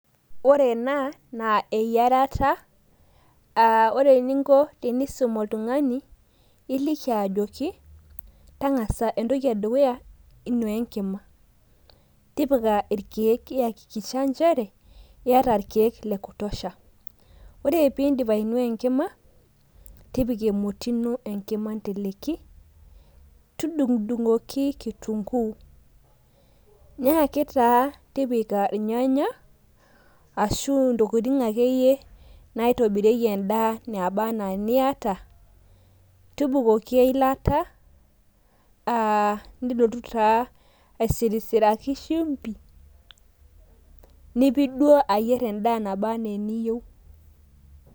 ore ena naa eyiarata, ore eninko tenusum oltyngani naa iliki ajoki, tang'asa ee dukuya inuaa enkima, tipika irkeek iyakikisha nchere iyata irkeek le kutosha. ore pee iidipi ainua enkima tipika emoti ino enkima inteleki, tudung'udung'oki kitunguuu, nyaki taa tipika irnyanaya, ashu intokitin akeyie naitobirieki edaa naba anaa iniata, tubukoki eilata. ilotu taa aisirisiraki shumpi, nipik duo ayier edaa naba anaa eniyieu.